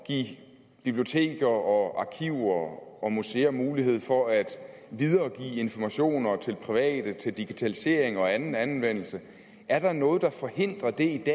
give biblioteker og arkiver og museer mulighed for at videregive informationer til private til digitalisering og anden anvendelse er der noget der forhindrer det i